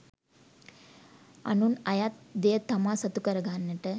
අනුන් අයත් දෙය තමා සතු කරගන්නට